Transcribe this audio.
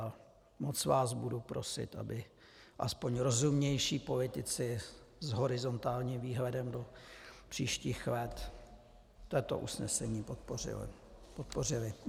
A moc vás budu prosit, aby aspoň rozumnější politici s horizontálním výhledem do příštích let toto usnesení podpořili.